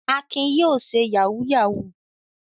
Akin yóò ṣe yahoo yahoo!